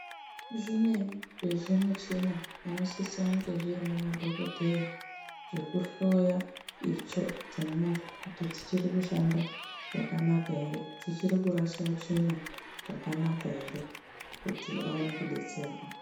Zvimweni zvezvimuchina zvinosise kunge zvinemadhokodheya, zvekuhloya itso dzemuntu kuti dzichiri kushanda zvakanaka here, dzichiri kurasha tsvina zvakanaka here, kuti awane kudetserwa.